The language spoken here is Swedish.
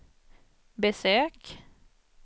besök